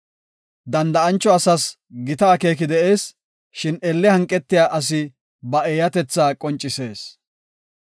Danda7ancho asas gita akeeki de7ees; shin elle hanqetiya asi ba eeyatetha qoncisees.